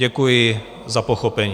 Děkuji za pochopení.